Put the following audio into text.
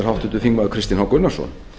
háttvirtur þingmaður kristinn h gunnarsson